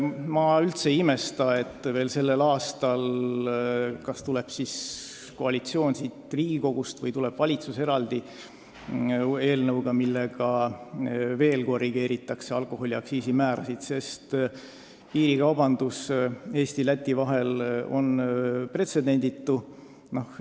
Ma üldse ei imesta, kui veel sellel aastal kas koalitsioon siit Riigikogust või valitsus tuleb välja eraldi eelnõuga, millega korrigeeritakse alkoholiaktsiisi määrasid, sest piirikaubandus Eesti ja Läti vahel on pretsedenditu.